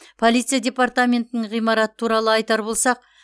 полиция департаментінің ғимараты туралы айтар болсақ